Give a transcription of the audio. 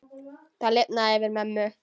Það lifnaði yfir mömmu.